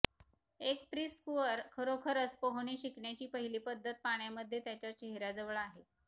एक प्रीस्कूअर खरोखरच पोहणे शिकण्याची पहिली पद्धत पाण्यामध्ये त्याच्या चेहर्याजवळ आहे